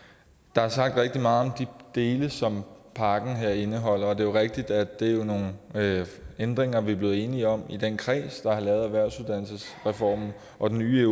der er sagt rigtig meget om de dele som pakken her indeholder og det er jo rigtigt at det er nogle ændringer vi er blevet enige om i den kreds der har lavet erhvervsuddannelsesreformen og den nye